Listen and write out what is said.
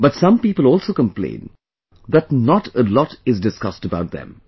But some people also complain that not a lot is discussed about them